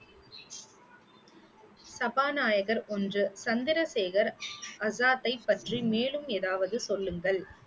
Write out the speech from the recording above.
சபாநாயகர் ஒன்று, சந்திரசேகர் ஆசாத்தை பற்றி மேலும் ஏதாவது சொல்லுங்கள்.